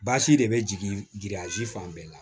Basi de bɛ jigin fan bɛɛ la